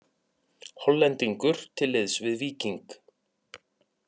Hollendingur til liðs við Víking